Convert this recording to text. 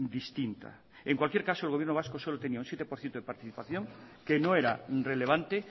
distinta en cualquier caso el gobierno vasco solo tenía un siete por ciento de participación que no era relevante